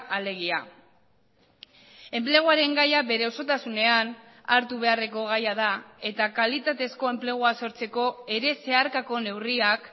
alegia enpleguaren gaia bere osotasunean hartu beharreko gaia da eta kalitatezko enplegua sortzeko ere zeharkako neurriak